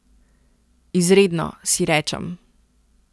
Izredno, si rečem.